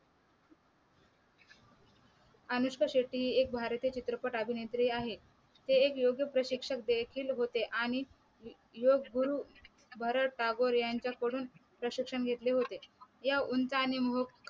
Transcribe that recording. अनुष्का शेट्टी एक भारतीय चित्रपट अभिनेत्री आहे हे एक योग्य प्रशिक्षक देखील होते आणि योग गुरु भरत टागोर यांच्याकडून प्रशिक्षण घेतले होते या उंच आणि मूक